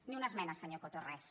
ni una esmena senyor coto res